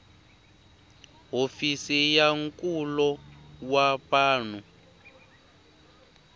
hofisi ya nkulo wa vanhu